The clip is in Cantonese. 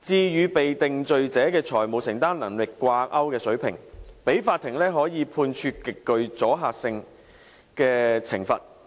至與被定罪者的財務承擔能力掛鈎的水平，讓法庭可以判處極具阻嚇性的懲罰。